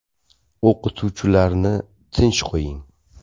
O‘qituvchilarni tinch qo‘ying.